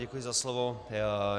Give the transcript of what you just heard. Děkuji za slovo.